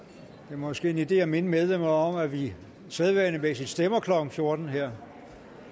måske en idé at minde medlemmerne om at vi sædvanligvis stemmer klokken fjorten her